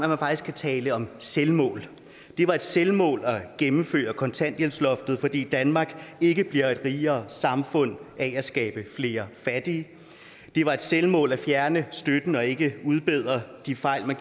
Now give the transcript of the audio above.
kan tale om selvmål det var et selvmål at gennemføre kontanthjælpsloftet fordi danmark ikke bliver et rigere samfund af at skabe flere fattige det var et selvmål at fjerne støtten og ikke udbedre de fejl man